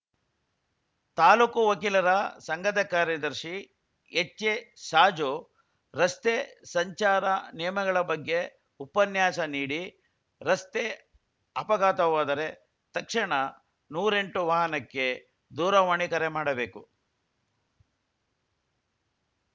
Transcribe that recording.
ತಾಲೂಕು ವಕೀಲರ ಸಂಘದ ಕಾರ್ಯದರ್ಶಿ ಎಚ್‌ಎ ಸಾಜು ರಸ್ತೆ ಸಂಚಾರ ನಿಯಮಗಳ ಬಗ್ಗೆ ಉಪನ್ಯಾಸ ನೀಡಿ ರಸ್ತೆ ಅಪಘಾತವಾದರೆ ತಕ್ಷಣ ನೂರೆಂಟು ವಾಹನಕ್ಕೆ ದೂರವಾಣಿ ಕರೆ ಮಾಡಬೇಕು